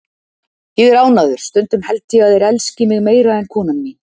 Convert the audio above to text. Ég er ánægður, stundum held ég þeir elski mig meira en konan mín.